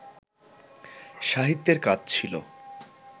সাহিত্যের কাজ ছিল